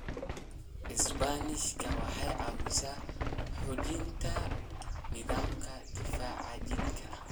Isbaanishka waxay caawisaa xoojinta nidaamka difaaca jidhka.